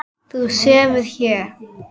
Þú sefur hér.